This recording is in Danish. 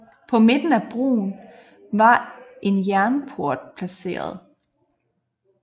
På midten af broen var en jernport placeret